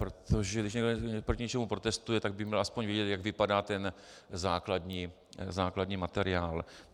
Protože když někdo proti něčemu protestuje, tak by měl aspoň vědět, jak vypadá ten základní materiál.